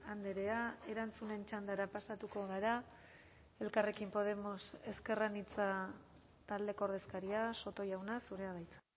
andrea erantzunen txandara pasatuko gara elkarrekin podemos ezker anitza taldeko ordezkaria soto jauna zurea da hitza